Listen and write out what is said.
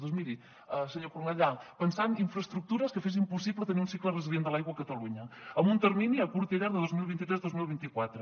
doncs miri senyor cornellà pensant infraestructures que fessin possible tenir un cicle resilient de l’aigua a catalunya amb un termini a curt i a llarg de dos mil vint tres dos mil vint quatre